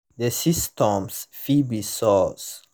the symptoms fit be sores